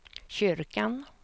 kyrkan